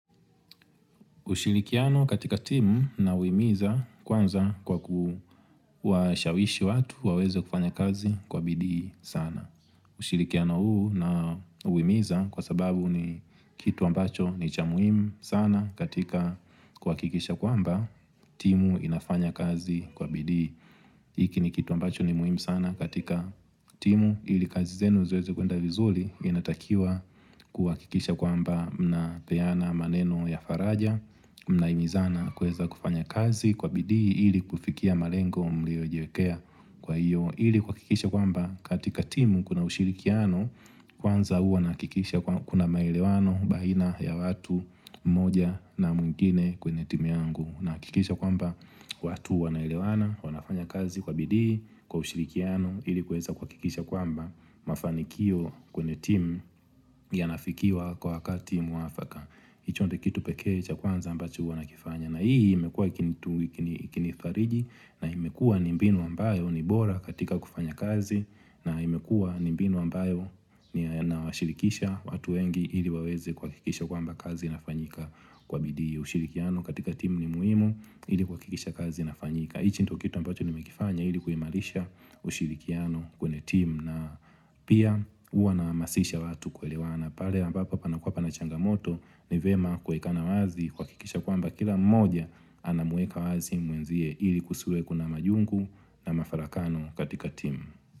Ushirikiano katika timu na uhimiza kwanza kwa kuwa shawishi watu waweze kufanya kazi kwa bidii sana. Ushirikiano huu na humiza kwa sababu ni kitu ambacho ni cha muhimu sana katika hakikisha kwamba timu inafanya kazi kwa bidii. Hiki ni kitu ambacho ni muhimu sana katika timu ili kazi zenu ziweze kuenda vizuri inatakiwa kuhakikisha kwamba mnapeana maneno ya faraja, mna himizana kuweza kufanya kazi kwa bidii ili kufikia malengo mliojiwekea kwa hiyo ili kuhakikisha kwamba katika timu kuna ushirikiano kwanza hua nahakikisha kuna maelewano baina ya watu moja na mwingine kwenye timu yangu na kihakikisha kwamba watu wanaelewana wanafanya kazi kwa bidii kwa ushirikiano ili kuweza kwa kuhakikisha kwamba mafanikio kwenye timu yana fikiwa kwa wakati mwafaka hicho ndio kitu pekee cha kwanza ambacho huwa na kifanya na hii imekua ikinifariji na imekua ni mbinu ambayo ni bora katika kufanya kazi na imekua nimbinu ambayo na washirikisha watu wengi ili waweze kwa hakikisha kwamba kazi inafanyika kwa bidii ushirikiano katika timu ni muhimu ili kwa kuhakikisha kazi inafanyika hichi ndio kitu ambacho nimekifanya ili kuimarisha ushirikiano kwenye timu na pia huwa na hamasisha watu kwelewana pale ambapo panakuwa panachangamoto ni vyema kuwekana wazi kuhakikisha kwamba kila mmoja anamueka wazi mwenzie ili kusiwe kuna majungu na mafarakano katika timu.